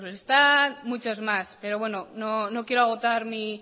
muchos más pero bueno no quiero agotar mi